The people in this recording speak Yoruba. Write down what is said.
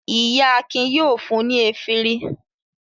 Iya Akin yóò fún mi efirin.